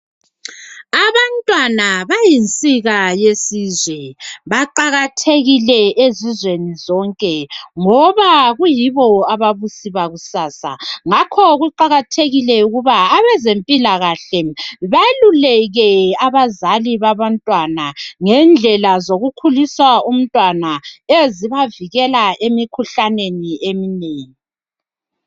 Abantwana bayinsika yesizwe baqakathekile ezizweni zonke ngoba kuyibo ababusi bakusasa ngakho kuqakathekile ukuba abezempilakahle beluleke abazali babantwana ngendlela zokukhulisa umntwana ezibavikela emkhuhlaneni eminengi.